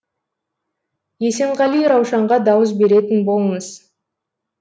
есенғали раушанға дауыс беретін болыңыз